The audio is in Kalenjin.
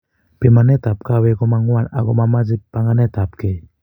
Pimanet ap kawek komamwan ak ko mamache panganet ap kei